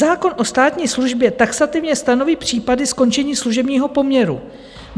Zákon o státní službě taxativně stanoví případy skončení služebního poměru.